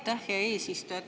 Aitäh, hea eesistuja!